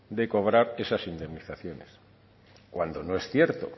de cobrar esas indemnizaciones cuando no es cierto